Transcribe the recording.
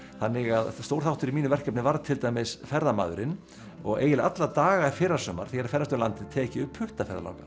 þannig að stór þáttur í mínu verkefni var til dæmis ferðamaðurinn og eiginlega alla daga í fyrrasumar þegar að ferðast um landið tek ég upp